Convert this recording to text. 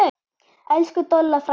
Elsku Dolla frænka mín.